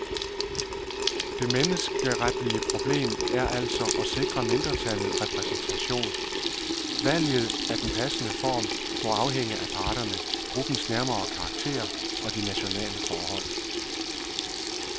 Det menneskeretlige problem er altså at sikre mindretallet repræsentation, valget af den passende form må afhænge af parterne, gruppens nærmere karakter og de nationale forhold.